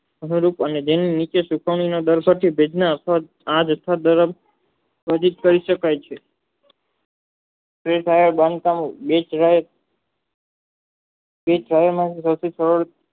અમેરિક અને જેની નીચે સુકવણી યોગિત કરી સકલાય છે તે સારા બાંધકામો ડીશ Vice